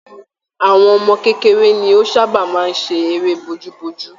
Àwọn ọmọ kékeré ni o sabaa máa ń ṣe eré bojú bojú.